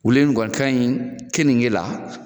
Wuli in kɔni kaɲi kenike la